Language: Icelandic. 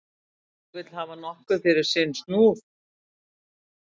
Kerling vill hafa nokkuð fyrir sinn snúð.